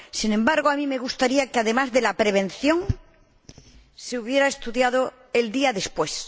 Sin embargo, a mí me gustaría que, además de la prevención, se hubiera estudiado el día después.